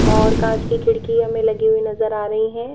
और कांच की खिड़की हमें लगी हुई नजर आ रही है।